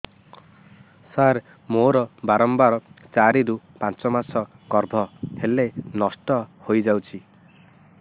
ସାର ମୋର ବାରମ୍ବାର ଚାରି ରୁ ପାଞ୍ଚ ମାସ ଗର୍ଭ ହେଲେ ନଷ୍ଟ ହଇଯାଉଛି